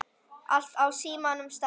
Allt á sínum stað.